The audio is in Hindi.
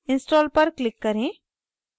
install पर click करें